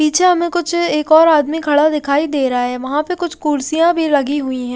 पीछे हमें कुछ एक और आदमी खड़ा दिखाई दे रहा है वहां पर कुछ कुर्सियां भी लगी हुई है।